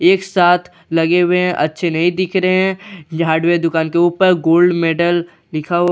एक साथ लगे हुए है अच्छे नहीं दिख रहे है ये हार्डवेयर दुकान के ऊपर गोल्ड मैडल लिखा हुआ--